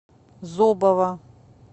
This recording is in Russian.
зобова